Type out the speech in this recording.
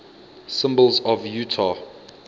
symbols of utah